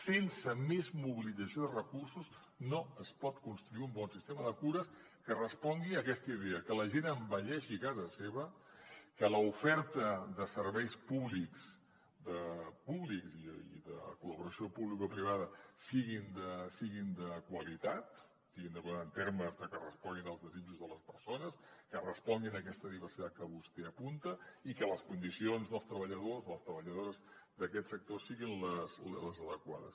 sense més mobilització de recursos no es pot construir un bon sistema de cures que respongui a aquesta idea que la gent envelleixi a casa seva que l’oferta de serveis públics i de col·laboració publicoprivada siguin de qualitat en termes de que responguin als desitjos de les persones que responguin a aquesta diversitat que vostè apunta i que les condicions dels treballadors les treballadores d’aquest sector siguin les adequades